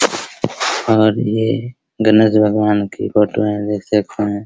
और ये गणेश भगवान की फोटो हैं देख सकते हैं।